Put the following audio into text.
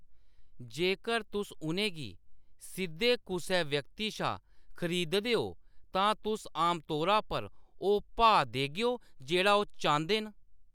जेकर तुस उʼनें गी सिद्धे कुसै व्यक्ति शा खरीददे ओ, तां तुस आमतौरा पर ओह्‌‌ भाऽ देगेओ जेह्‌‌ड़ा ओह्‌‌ चांह्‌‌‌दे न।